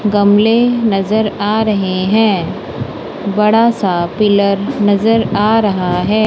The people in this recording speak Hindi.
गमले नजर आ रहे हैं बड़ा सा पिलर नजर आ रहा है।